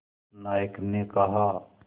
नायक ने कहा